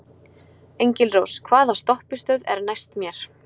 Engilrós, hvaða stoppistöð er næst mér?